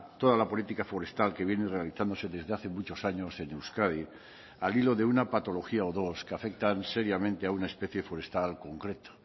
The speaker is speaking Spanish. toda la política forestal que viene realizándose desde hace muchos años en euskadi al hilo de una patología o dos que afectan seriamente a una especie forestal concreto